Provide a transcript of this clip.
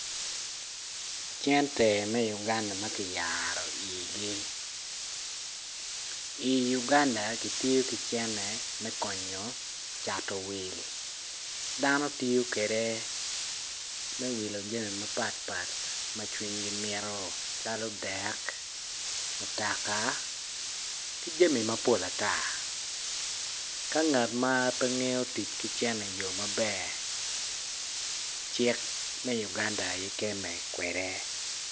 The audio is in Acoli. Cente me Uganda ma kiyaro igi i Uganda kitiyo ki cene me konyo cato wil dano tiyo kede me wil jami mapat pat ma cwinygi mito calo dek mutoka mki jami mapol ata ka ngat ma pe ngeyo tic ki cene iyo maber cik me Uganda aye keme kwede.